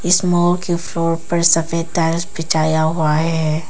इस मॉल के फ्लोर पर सभी टाइल्स बिछाया हुआ है।